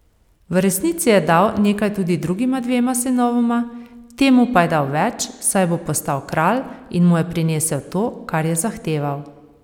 V resnici je dal nekaj tudi drugima dvema sinovoma, temu pa je dal več, saj bo postal kralj in mu je prinesel to, kar je zahteval.